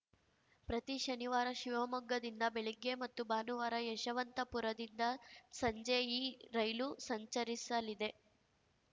ಪ್ರತಿ ಶನಿವಾರ ಶಿವಮೊಗ್ಗದಿಂದ ಬೆಳಗ್ಗೆ ಮತ್ತು ಭಾನುವಾರ ಯಶವಂತಪುರದಿಂದ ಸಂಜೆ ಈ ರೈಲು ಸಂಚರಿಸಲಿದೆ